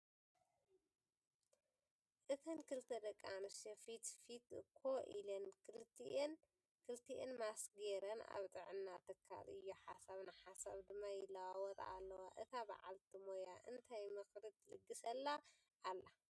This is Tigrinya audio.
እተን ክልተ ደቂ ኣነስትዮ ፊትፊት ኮ ኢለን ክልቲአን ማስክ ገይረን ኣብ ጥዕና ትካል እዩ ሓሳብ ንሓሳብ ድማ ይለዋወጣ ኣለዋ፡፡ እታ በዓልቲ ሞያ እንታይ ምክሪ ትልግሰላ ኣላ?